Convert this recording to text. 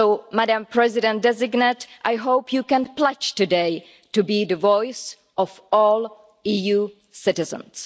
Madam President-designate, I hope you can pledge today to be the voice of all EU citizens.